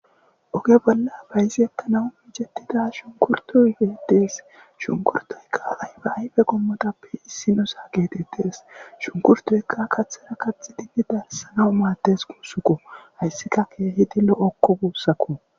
oge bolla bayizi ekkanawu micetida shunkurtoygedees shunkurtoykaay ba ayfe gommotappe issinosa geetettes shunkurtoykka kathera katx dinni darssanaw maaddes kuussukko hayssika keehidi lo7okko guussakko